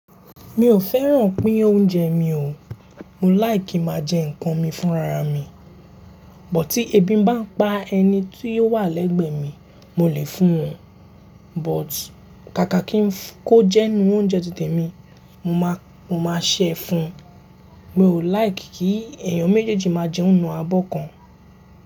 Mi ò fẹ́ràn pín oúnjẹ mi o. Mo like máa jẹ nǹkan mi fún rara mi. Bọ̀ tí ebi ń bá pa ẹni tí óò wà lẹ́gbẹ̀ẹ́ mi, mo lè fún un. But ká ká kí ń kó jẹun oúnjẹ títè mi, mo máa, mo máa ṣẹ́ fún un. Mi ò like kí èèyàn méjèèjì máa jẹun nù abọ́ kan.